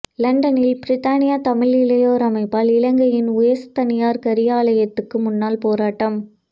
லண்டனில் பிரித்தானிய தமிழ் இளையோர் அமைப்பால் இலங்கையின் உயர்ஸ்தானியர் காரியாலயத்துக்கு முன்னால் போராட்டம்